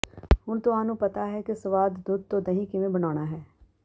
ਹੁਣ ਤੁਹਾਨੂੰ ਪਤਾ ਹੈ ਕਿ ਸਵਾਦ ਦੁੱਧ ਤੋਂ ਦਹੀਂ ਕਿਵੇਂ ਬਣਾਉਣਾ ਹੈ